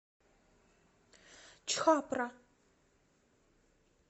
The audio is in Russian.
чхапра